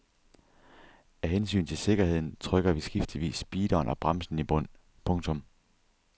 Af hensyn til sikkerheden trykker vi skiftevis speederen og bremsen i bund. punktum